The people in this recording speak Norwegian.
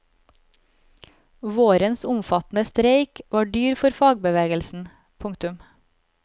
Vårens omfattende streik var dyr for fagbevegelsen. punktum